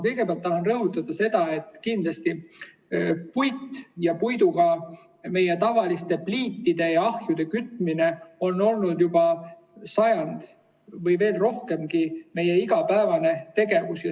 Kõigepealt tahan rõhutada, et puit ja puiduga meie pliitide ja ahjude kütmine on olnud juba sajandi või veel kauemgi meie igapäevane tegevus.